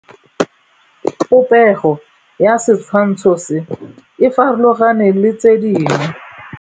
Popêgo ya setshwantshô se, e farologane le tse dingwe.